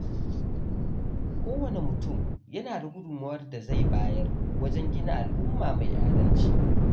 Kowane mutum yana da gudunmawar da zai bayar wajen gina al’umma mai adalci.